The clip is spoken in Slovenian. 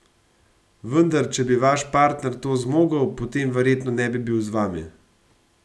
Vendar če bi vaš partner to zmogel, potem verjetno ne bi bil z vami.